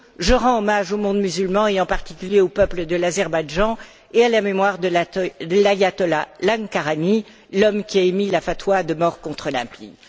Je rends hommage au monde musulman, et en particulier au peuple de l'Azerbaïdjan et à la mémoire de l'Ayatollah Uzma Lankarani l'homme qui a émis la fatwa de mort contre l'impie.